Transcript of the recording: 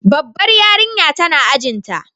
Babbar yarinya tana ajin ta.